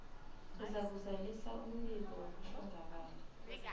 uzakuzalisa umbiko wokuhlongakala